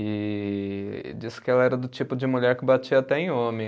E, e diz que ela era do tipo de mulher que batia até em homem.